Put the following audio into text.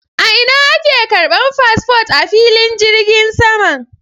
A ina ake ƙarban fasfot a filin jirgin saman?